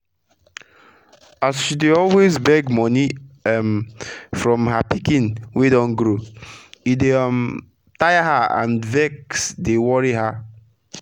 as she dey always beg moni um from her pikin wey don grow e dey um tire her and vex dey worri her